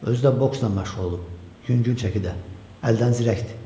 Özü də boksla məşğul olub yüngül çəkidə, əldən zirəkdir.